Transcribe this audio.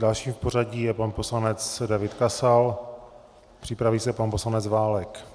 Dalším v pořadí je pan poslanec David Kasal, připraví se pan poslanec Válek.